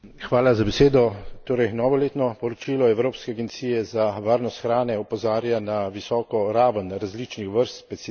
Torej, novo letno poročilo Evropske agencije za varnost hrane opozarja na visoko raven različnih vrst pesticidov v hrani.